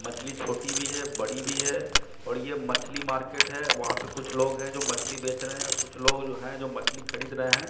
मछली छोटी भी है बड़ी भी है और ये मछली मार्केट है वहां पे कुछ लोग हैं जो मछली बेच रहे हैं और कुछ लोग हैं जो मछली खरीद रहे हैं।